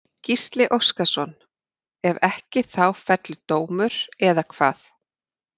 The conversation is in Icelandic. Gísli Óskarsson: Ef ekki þá fellur dómur, eða hvað?